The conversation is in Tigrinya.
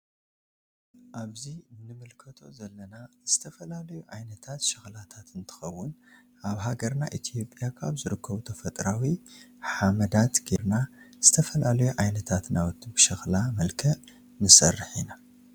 አብዚ ንምልከቶ ዘለና ዝተፈላለዩ ዓይነታት ሽክላታት እንትከውን አብ ሃገርና ኢትዮጽያ ካብ ዝርከቡ ተፈጥራዊ ሓመዳት ገይርና ዝተፈላለዩ ዓይነታት ናዉቲ ብሽክላ መልክዕ ንስርሕ ኢና ።